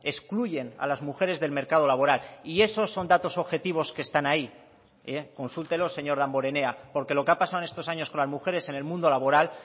excluyen a las mujeres del mercado laboral y esos son datos objetivos que están ahí consúltelos señor damborenea porque lo que ha pasado en estos años con las mujeres en el mundo laboral